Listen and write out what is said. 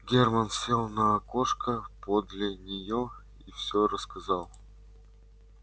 германн сел на окошко подле нее и все рассказал